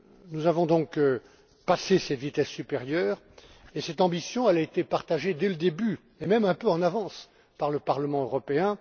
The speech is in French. Nous avons donc passé cette vitesse supérieure et cette ambition a été partagée dès le début et même un peu en avance par le Parlement européen.